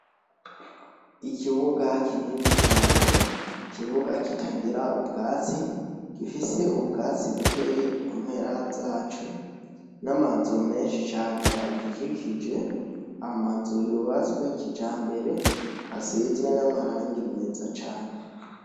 Ikibuga kinini cane ikibuga kitagira ubwatsi gifise ubwatsi bukeya kumpera zaco namazu menshi cane agikikije amazu yubatse ya kijambere asizwe namarangi meza cane